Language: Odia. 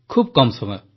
ଖୁବ୍ କମ୍ ସମୟ